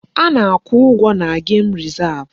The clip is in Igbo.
A na-akwụ ụgwọ na gem rezav.